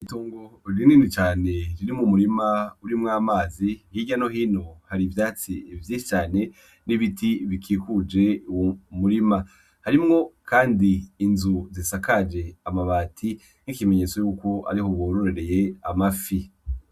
Itongo rinini cane riri mu murima urimwo amazi ikirya no hino hari ivyatsi evyi cane n'ibiti bikikuje uwomurima harimwo, kandi inzu zisakaje amabati nk'ikimenyetso yuko ari ho wororereye amafi.